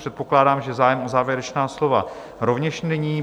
Předpokládám, že zájem o závěrečná slova rovněž není.